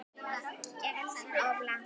Gekk hann of langt?